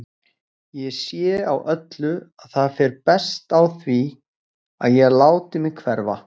Ég sé á öllu að það fer best á því að ég láti mig hverfa.